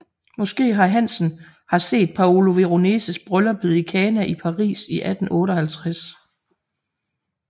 Måske har Hansen har set Paolo Veroneses Brylluppet i Cana i Paris i 1858